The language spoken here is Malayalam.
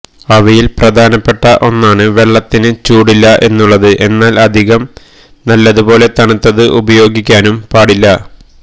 അവയിൽ പ്രധാനപ്പെട്ട ഒന്നാണ് വെള്ളത്തിന് ചൂടില്ല എന്നുള്ളത് എന്നാൽ അധികം നല്ലതു പോലെ തണുത്തത് ഉപയോഗിക്കാനും പാടില്ല